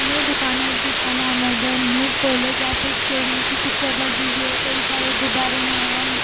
यह दुकान है जिसका नाम है द न्यू पोलो जहां पे स्टीयरिंग की पिक्चर लगी हुई है कई सारे गुब्बारे हैं एंड --